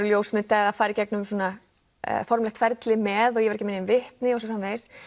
ljósmynda eða fara í gegnum ferli með ég var ekki með nein vitni og svo framvegis